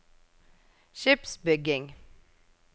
skipsbygging